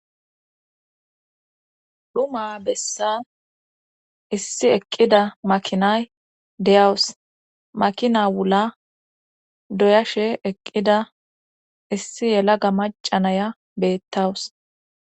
Dhuma bessan issi eqqida makinay deyawus makina wula doyashe eqqida issi yela ga macanaya beettawus.